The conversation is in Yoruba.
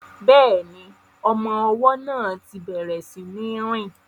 Bẹ́ẹ̀ni, ọmọ ọwọ́ náà ti bẹ̀rẹ̀ sí ní rìn